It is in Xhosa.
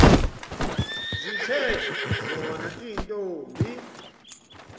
zithe zona iintombi